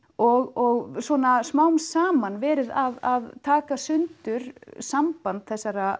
og svona smám saman verið að taka í sundur samband þessara